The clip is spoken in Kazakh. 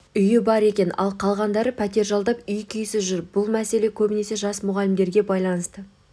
үйі бар екен ал қалғандары пәтер жалдап үй-күйсіз жүр бұл мәселе көбінесе жас мұғалімдерге байланысты